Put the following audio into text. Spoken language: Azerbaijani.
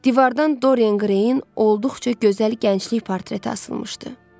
Divardan Dorian Greyin olduqca gözəl gənclik portreti asılmışdı.